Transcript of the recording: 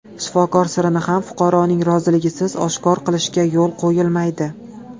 Shifokor sirini ham fuqaroning roziligisiz oshkor qilishga yo‘l qo‘yilmaydi.